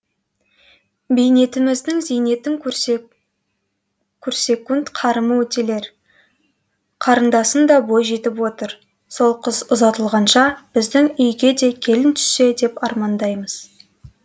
бейнетіміздің зейнетін көрсек қарымы өтелер қарындасың да бой жетіп отыр сол қыз ұзатылғанша біздің үйге де келін түссе деп армандаймыз